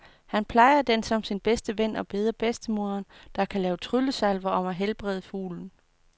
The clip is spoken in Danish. Han plejer den som sin bedste ven og beder bedstemoderen, der kan lave tryllesalver, om at helbrede fuglen.